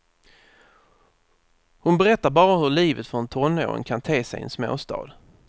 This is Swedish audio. Hon berättar bara hur livet för en tonåring kan te sig i en småstad.